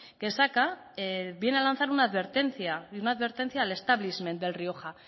que saca viene a lanzar una advertencia y una advertencia al establishment del rioja